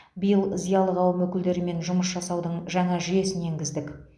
биыл зиялы қауым өкілдерімен жұмыс жасаудың жаңа жүйесін енгіздік